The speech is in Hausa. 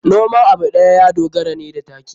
Noman abu ɗaya ya dogara ne da taki.